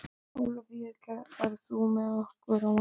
Ólafía, ferð þú með okkur á mánudaginn?